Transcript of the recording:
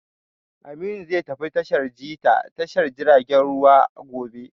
Aminu zai tafi tashar ji ta tashar jiragen ruwa gobe